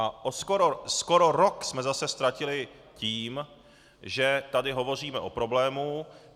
A skoro rok jsme zase ztratili tím, že tady hovoříme o problému.